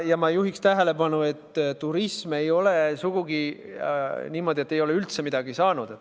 Ja ma juhin tähelepanu sellele, et ei ole sugugi niimoodi, et turism ei ole üldse midagi saanud.